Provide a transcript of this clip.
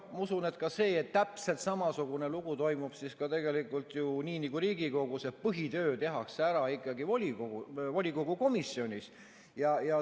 Ma usun, et ka see, et täpselt samasugune lugu toimub tegelikult ju ka seal nii nagu Riigikogus, et põhitöö tehakse ära ikkagi komisjonis.